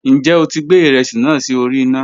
Njẹ o ti gbẹ iresi naa si ori ina?